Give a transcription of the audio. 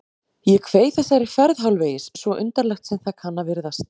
Ég kveið þessari ferð hálfvegis, svo undarlegt sem það kann að virðast